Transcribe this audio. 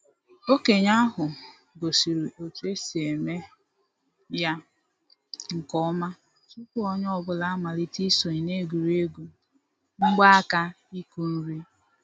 Okenye ahu gosiri otu esi eme ya nke ọma tupu onye ọ bụla amalite isonye na egwuregwu mgbaaka ịkụ nri